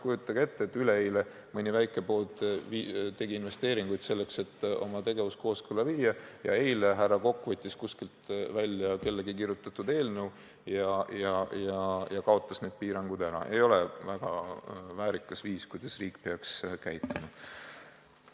Kujutage ette, et üleeile tegi mõni väike pood investeeringuid selleks, et oma tegevus kooskõlla viia, aga eile härra Kokk võttis kuskilt välja kellegi kirjutatud eelnõu ja kaotas need piirangud ära – ei ole väga väärikas viis, kuidas riik peaks käituma.